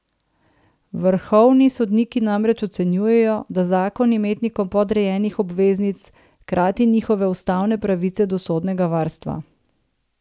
Vrhovni sodniki namreč ocenjujejo, da zakon imetnikom podrejenih obveznic krati njihove ustavne pravice do sodnega varstva.